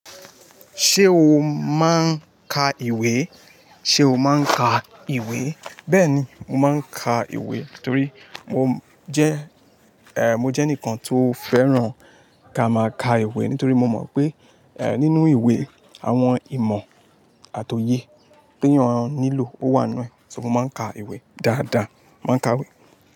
Ṣé o máa ń ka ìwé? Ṣé o máa ń ka ìwé? Bẹ́ẹ̀ni, mo máa ń ka ìwé torí mo jẹ́, eh mo jẹ́ ẹnìkan tó fẹ́ràn ká máa ka ìwé nítorí mo mọ̀ pé, eh nínú ìwé àwọn ìmọ̀ àti òye tí ẹniyàn nílò ó wà nù. So mo máa ń ka ìwé dáadáa, mo máa ń ka ìwé.